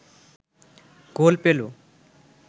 গোল পেল